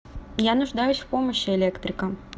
я нуждаюсь в помощи электрика